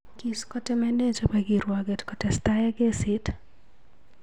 Kiskotemene che bo kirwoket kotestai ak kesiit.